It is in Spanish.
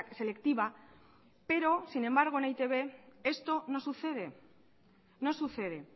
selectiva pero sin embargo en e i te be esto no sucede no sucede